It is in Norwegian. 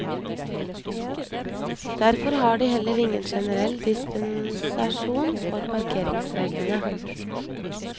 Derfor har de heller ingen generell dispensasjon fra parkeringsreglene.